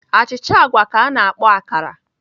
Achịcha agwa ka a na-akpọ akara